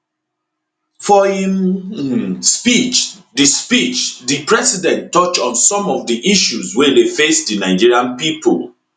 for im um speech di speech di president touch on some of di issues wey dey face di nigerian pipo